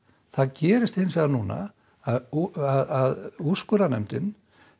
það gerist hins vegar núna að að úrskurðarnefndin